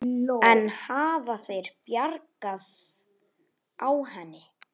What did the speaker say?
En hafa þeir bragðað á henni?